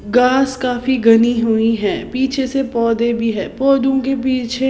घास काफी घनी हुई है पीछे से पौधे भी है पौधों के पीछे--